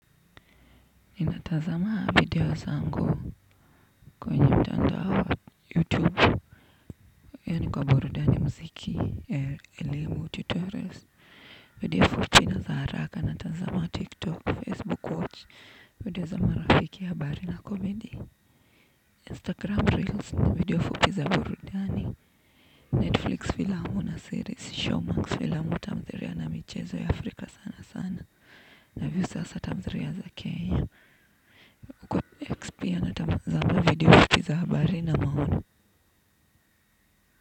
Nina tanzama video zangu kwenye mtandao youtube yani kwa burudani muziki elimu tutorials video fupi na za haraka natazama tiktok facebook watch video za marafiki habari na comedy instagram reels na video fupi za burudani netflix filamu na series showmanx filamu tamthilia na michezo ya afrika sana sana naview sasa tamthiria za kenya X pia natazama video fupi za habari na maoni.